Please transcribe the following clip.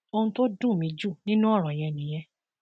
ohun tó dùn mí jù nínú ọrọ yẹn nìyẹn